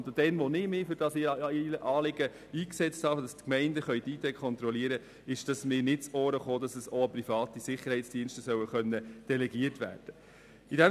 Als ich mich für das Anliegen eingesetzt hatte, dass die Gemeinden IDs kontrollieren dürfen, kam mir nicht zu Ohren, dass dies auch an private Sicherheitsdienste delegiert werden können soll.